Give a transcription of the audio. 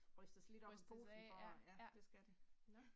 Rystes af ja, ja, nåh